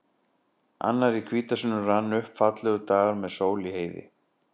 Annar í hvítasunnu rann upp, fallegur dagur með sól í heiði.